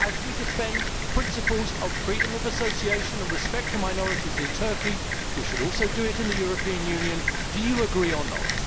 Just as we defend the principles of freedom of association and respect for minorities in Turkey, we should also do it in the European Union. Do you agree or not?